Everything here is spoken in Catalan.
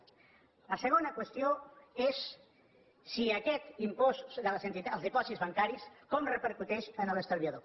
la segona qüestió és aquest impost dels dipòsits bancaris com repercuteix en l’estalviador